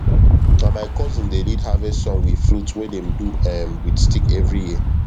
na my cousin dey lead harvest song with flute wey dem do um with stick every year